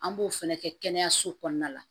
An b'o fɛnɛ kɛ kɛnɛyaso kɔnɔna la